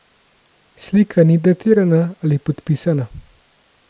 Slika ni datirana ali podpisana.